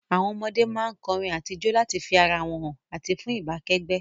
Àwon ọmọdé má n korin àti jo láti fi ara wón han àti fun ìbá kẹ́gbẹ́